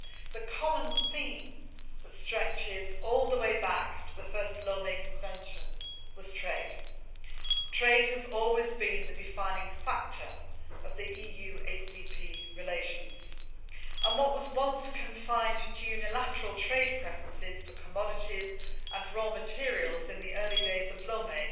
The common theme that stretches all the way back to the first Lomé Convention was trade. Trade has always been the defining factor of EU ACP relations, and what was once confined to unilateral trade preferences for commodities and raw materials in the early days of Lomé